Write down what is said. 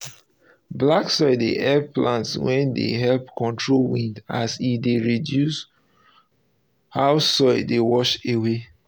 black soil dey help plants wey dey help control wind as e dey reduce how soil dey wash away.